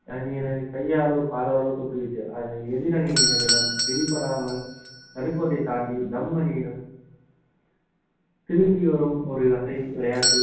அணியினரை கையாலோ காலாலோ தொட்டுவிட்டு அது எதிரணியினரிடம் பிடிபடாமல் நடுக்கோட்டை தாண்டி தம் அணியிடம் திரும்பி வரும் ஒரு வகை விளையாட்டு